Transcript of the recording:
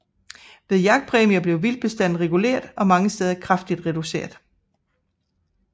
Ved jagtpræmier blev vildtbestanden reguleret og mange steder kraftigt reduceret